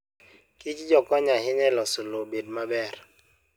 Kichjo konyo ahinya e loso lowo obed kama ber.